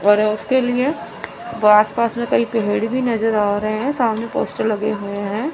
और उसके लिए आस पास में कई पेड़ भी नजर आ रहे हैं सामने पोस्टर लगे हुए हैं।